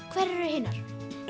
hverjar eru hinar